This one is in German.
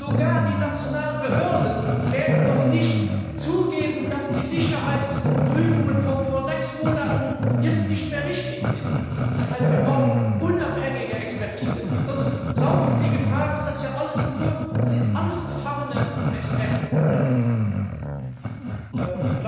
Auch die nationalen Behörden werden doch nicht zugeben, dass die Sicherheitsprüfungen von vor sechs Monaten jetzt nicht mehr richtig sind. Das heißt, wir brauchen unabhängige Expertise, sonst laufen Sie Gefahr, dass Sie es nur mit befangenen Experten zu tun haben.